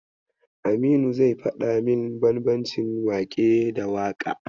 Aminu zai faɗa min bambancin waƙe da waƙa.